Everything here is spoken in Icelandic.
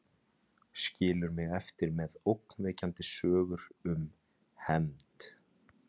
Skilur mig eftir með ógnvekjandi sögur um hefnd.